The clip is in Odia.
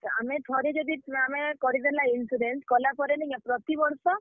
ଆମେ ଥରେ ଯଦି, ଆମେ କରିଦେଲା insurance କଲା ପରେ ନିକେଁ ପ୍ରତିବର୍ଷ।